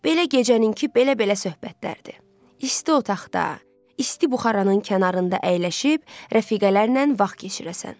Belə gecənin ki, belə-belə söhbətlərdir, isti otaqda, isti buxaranın kənarında əyləşib rəfiqələrlə vaxt keçirəsən.